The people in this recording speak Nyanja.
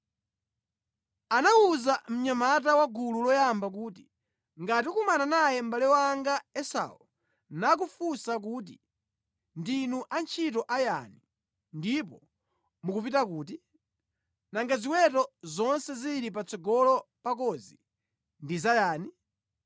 Anawuza mnyamata wa gulu loyamba kuti, “Ngati ukumana naye mʼbale wanga Esau nakufunsa kuti, ‘Ndinu antchito a yani, ndipo mukupita kuti? Nanga ziweto zonse zili patsogolo pakozi ndi za yani?’